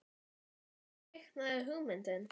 En hvar kviknaði hugmyndin?